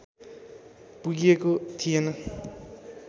पुगिएको थिएन